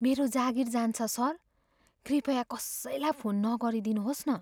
मेरो जागिर जान्छ, सर। कृपया कसैलाई फोन नगरिदिनुहोस् न।